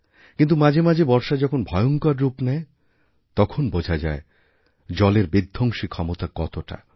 কিন্তু মাঝে মাঝেবর্ষা যখন ভয়ঙ্কর রূপ নেয় তখন বোঝা যায় জলের বিধ্বংসী ক্ষমতা কতটা